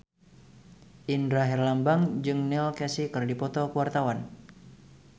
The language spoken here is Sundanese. Indra Herlambang jeung Neil Casey keur dipoto ku wartawan